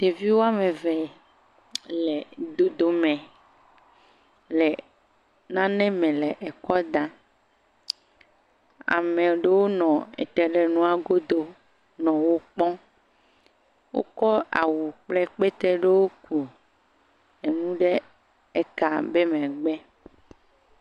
Ɖeviwo woame eve le dodome le nane me le ekɔ da, ame ɖewo nɔ ete ɖe emua godo nɔ wo kpɔm, wokɔ awu kple kpete ɖewo ku enu ɖe eka be megbe.